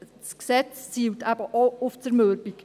Dennoch zielt das Gesetz eben auch auf Zermürbung.